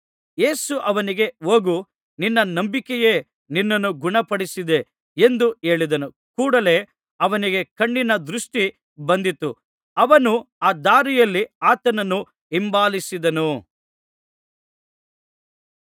ಯೇಸು ಅವನಿಗೆ ಹೋಗು ನಿನ್ನ ನಂಬಿಕೆಯೇ ನಿನ್ನನ್ನು ಗುಣಪಡಿಸಿದೆ ಎಂದು ಹೇಳಿದನು ಕೂಡಲೇ ಅವನಿಗೆ ಕಣ್ಣಿನ ದೃಷ್ಟಿ ಬಂದಿತು ಅವನು ಆ ದಾರಿಯಲ್ಲಿ ಆತನನ್ನು ಹಿಂಬಾಲಿಸಿದನು